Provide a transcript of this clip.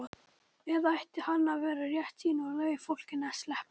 Eða ætti hann að vera réttsýnn og leyfa fólkinu að sleppa?